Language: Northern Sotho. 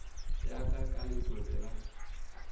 ya ka ka letobe la